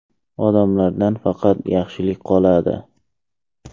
Odamlardan faqat yaxshilik qoladi.